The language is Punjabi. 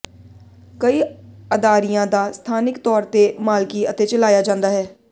ਕਈ ਅਦਾਰਿਆਂ ਦਾ ਸਥਾਨਿਕ ਤੌਰ ਤੇ ਮਾਲਕੀ ਅਤੇ ਚਲਾਇਆ ਜਾਂਦਾ ਹੈ